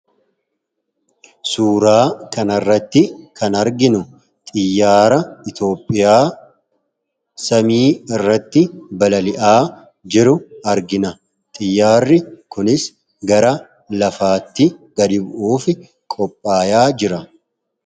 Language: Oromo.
Suuraa kanarratti kan arginu xiyyaara Itoophiyaa samii irratti balali'aa jiru argina. Xiyyaarri kunis gara lafaatti gadi bu'uuf qophaayaa jira.